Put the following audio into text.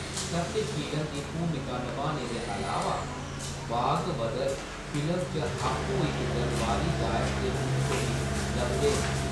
सत्यशीलन दी भूमिका नभाने दे अलावा, भागवदर फिल्म च आपूं इक दरबारी गायक दे रूप च बी लभदे न।